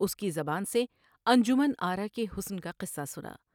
اس کی زبان سے انجمن آرا کے حسن کا قصہ سنا ۔